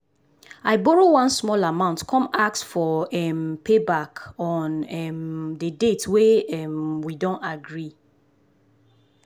i borrow one small amount come ask for um payback on um the date wey um we don agree.